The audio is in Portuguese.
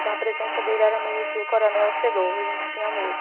Então, a presença dele era meio que o coronel chegou, a gente tinha medo.